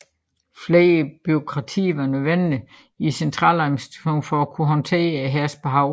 Flere bureaukrater var nødvendige i centraladministrationen for at kunne håndtere hærens behov